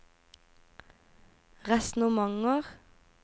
resonnementer